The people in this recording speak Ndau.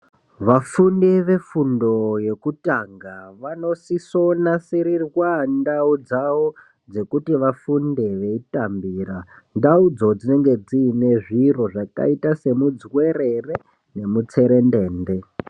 Vafundi vefundo yekutanga vanosisonasirirwa ndau dzavo ,dzekuti vafunde veitambira. Ndaudzo dzinenge dziine zviro zvakaita semidzuwerere nemutsetendende.